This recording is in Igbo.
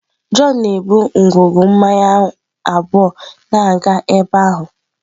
John na-ebu ngwugwu mmanya abụọ na-aga ebe ahụ.